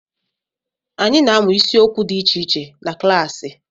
Anyị na-amụ isiokwu dị iche iche na klaasi.